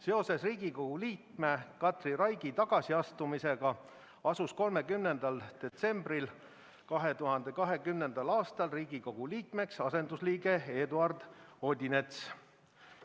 Seoses Riigikogu liikme Katri Raigi tagasiastumisega asus 30. detsembril 2020. aastal Riigikogu liikmeks asendusliige Eduard Odinets.